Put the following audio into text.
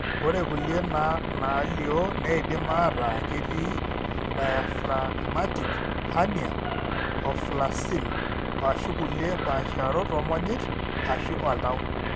Ore kulie naalio neidim aataa ketii endiaphragmatic hernia, omphalocele, o/ashu kulie paasharot oomonyit ashu oltau.